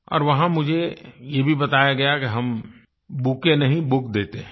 और वहाँ मुझे ये भी बताया गया कि हम बुकेट नहीं बुक देते हैं